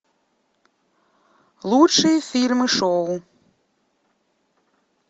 лучшие фильмы шоу